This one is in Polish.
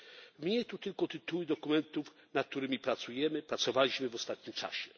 Wymienię tu tylko tytuły dokumentów, nad którymi pracujemy lub pracowaliśmy w ostatnim czasie.